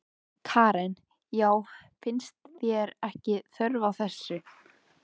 Karen: Já, finnst þér ekki þörf á þessu?